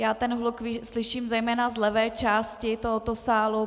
Já ten hluk slyším zejména z levé části tohoto sálu.